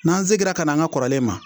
n'an segira kan'an ka kɔrɔlen ma